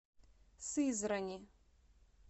сызрани